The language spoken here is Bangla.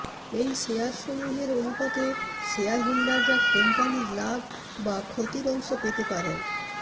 এই শেয়ার সমুহের অনুপাতে শেয়ার হোল্ডাররা কোম্পানির লাভ বা ক্ষতির অংশ পেতে পারেন